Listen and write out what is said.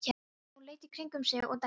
Jón leit í kringum sig og dæsti.